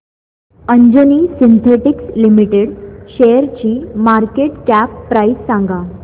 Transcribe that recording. Anjani synthetics limited शेअरची market cap price सांगा